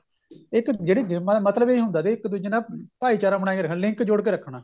ਇੱਕ ਜਿਹੜੀ ਗੇਮਾ ਮਤਲਬ ਇਹ ਹੁੰਦਾ ਸੀ ਇੱਕ ਦੂਜੇ ਨਾਲ ਭਾਈਚਾਰਾ ਬਣਾਈ ਰੱਖਣਾ link ਜੋੜ ਕੇ ਰੱਖਣਾ